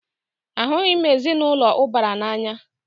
Ahụghị m ezinaụlọ ụbara n'anya.